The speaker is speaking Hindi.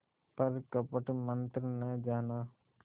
पर कपट मन्त्र न जाना